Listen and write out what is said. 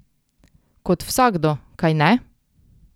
Kot vsakdo, kajne?